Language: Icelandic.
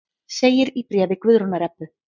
Segir í bréfi Guðrúnar Ebbu.